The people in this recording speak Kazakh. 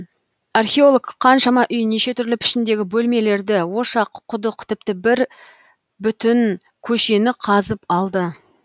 археолог қаншама үй неше түрлі пішіндегі бөлмелерді ошақ құдық тіпті бүтін бір көшені қазып алды